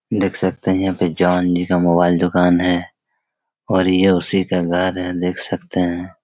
देख सकते हैं यहाँ पे जॉन जी का मोबाइल दुकान हैं और ये उसी का घर हैं देख सकते हैं।